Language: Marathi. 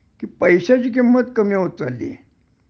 कि पैश्याची किंमत कमी होत चाललीये